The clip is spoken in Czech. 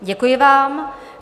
Děkuji vám.